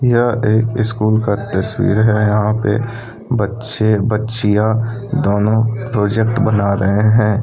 यह एक स्कूल का तस्वीर है यहां पर बच्चे बच्चियों दोनों प्रोजेक्ट बना रहे हैं।